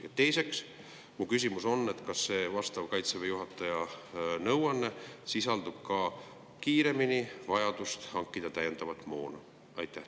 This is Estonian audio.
Ja teiseks, mu küsimus on, kas see Kaitseväe juhataja nõuanne sisaldab ka vajadust hankida kiiremini täiendavat moona.